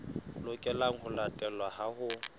lokelang ho latelwa ha ho